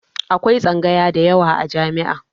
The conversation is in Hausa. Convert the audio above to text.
Akwai tsangaya da yawa a jami'a.